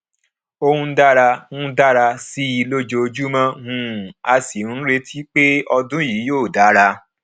ó ń dára ń dára sí i lójoojúmọ um a sì níretí pé ọdún yìí yóò dára